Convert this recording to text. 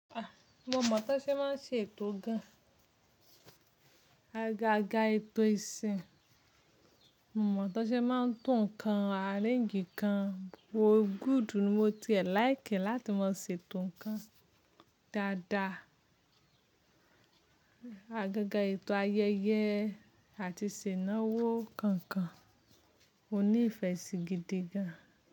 A, mo mọ̀ Tọ́ṣẹ́ máa ń ṣe ètò gan-an. Agaaga ètò ìsìn, mo mọ̀ Tọ́ṣẹ́ máa ń tún ǹkan areǹgì kan gbó. Gúùdù ni mo ti ẹ̀ láìkì láti máa ṣètò ǹkan dáadáa. Agaaga ètò ayẹyẹ àti ìṣẹ̀ náwó kànkan. Mo ní ìfẹ́ sí gidi gan.